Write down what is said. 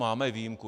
Máme výjimku.